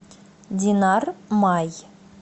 динар май